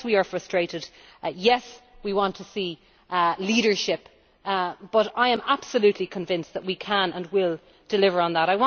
Yes we are frustrated, yes we want to see leadership, but I am absolutely convinced that we can and will deliver on that.